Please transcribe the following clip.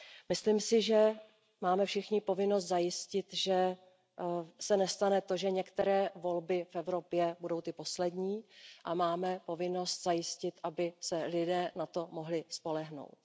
Myslím si, že máme všichni povinnost zajistit, že se nestane to, že některé volby v Evropě budou ty poslední, a máme povinnost zajistit, aby se lidé na to mohli spolehnout.